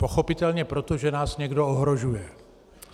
Pochopitelně proto, že nás někdo ohrožuje.